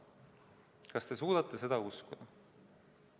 Kas te suudate seda uskuda?